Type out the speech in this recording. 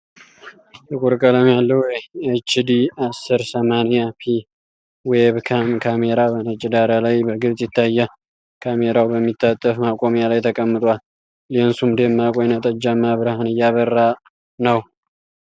ጥቁር ቀለም ያለው፣ ኤች ዲ አስር ሰማንያ ፒ ዌብካም ካሜራ በነጭ ዳራ ላይ በግልጽ ይታያል። ካሜራው በሚታጠፍ ማቆሚያ ላይ ተቀምጧል፤ ሌንሱም ደማቅ ወይንጠጃማ ብርሃን እያበራ ነው።